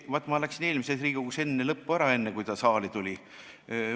Vaat, ma läksin eelmisest Riigikogust enne ära, kui see eelnõu saali tuli.